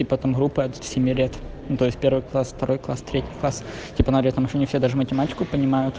и потом группы от семи лет ну то есть первый класс второй класс третий класс типа она орет там ещё не все даже математику понимают